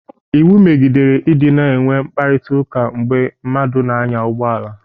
Iwu megidere ị dịna enwe mkparịtaụka mgbe mmadụ na-anya ụgbọala.